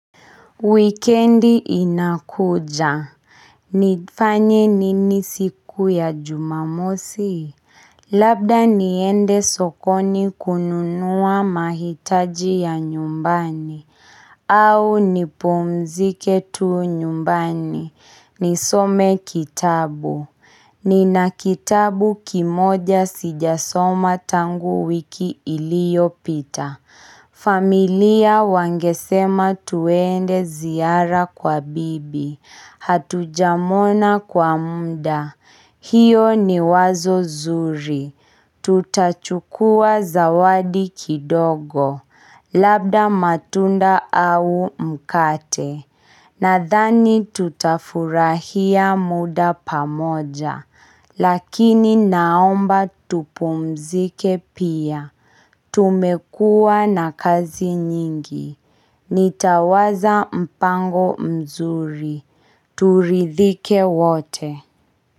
Wikendi inakuja, nifanye nini siku ya jumamosi, labda niende sokoni kununua mahitaji ya nyumbani, au nipumzike tu nyumbani, nisome kitabu, nina kitabu kimoja sijasoma tangu wiki iliopita. Familia wangesema tuende ziara kwa bibi, hatujamwona kwa muda, hiyo ni wazo zuri, tutachukua zawadi kidogo, labda matunda au mkate. Nadhani tutafurahia muda pamoja, lakini naomba tupumzike pia. Tumekuwa na kazi nyingi, nitawaza mpango mzuri, turidhike wote.